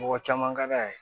Mɔgɔ caman ka d'a ye